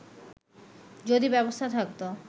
যদি ব্যবস্থা থাকতো